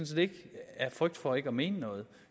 set ikke af frygt for ikke at mene noget